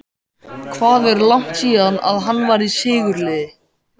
Hvað er langt síðan að hann var í sigurliði?